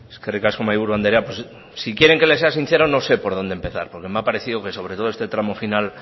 eskerrik asko mahaiburu anderea pues si quieren que le sea sincero no sé por dónde empezar porque me ha parecido que sobre todo este tramo final